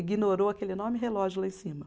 Ignorou aquele enorme relógio lá em cima.